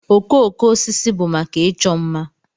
Okooko osisi bụ maka ịchọ mma.